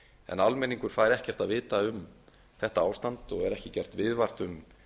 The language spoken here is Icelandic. en almenningur fæ ekkert að vita um þetta ástand og er ekki gert viðvart um